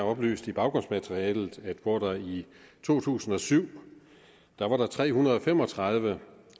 oplyst i baggrundsmaterialet at hvor der i to tusind og syv var tre hundrede og fem og tredive